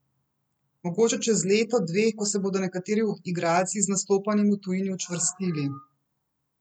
Mogoče čez leto dve, ko se bodo nekateri igralci z nastopanjem v tujini učvrstili.